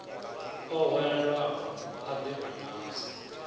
o hwelelwaho a ḓi vhonadze